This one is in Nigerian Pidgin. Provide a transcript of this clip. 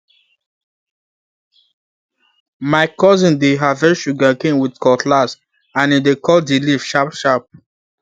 my cousin dey harvest sugarcane with cutlass and e dey cut the leaf sharpsharp